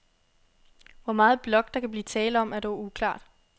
Hvor meget blok, der kan blive tale om, er dog uklart.